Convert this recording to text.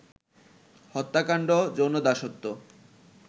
হত্যাকাণ্ড, যৌন দাসত্ব